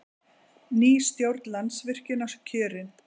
Ný stjórn Landsvirkjunar kjörin